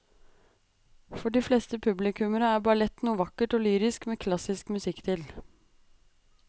For de fleste publikummere er ballett noe vakkert og lyrisk med klassisk musikk til.